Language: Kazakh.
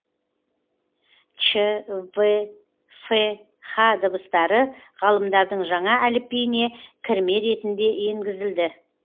ч в ф һ дыбыстары ғалымдардың жаңа әліпбиіне кірме ретінде енгізілді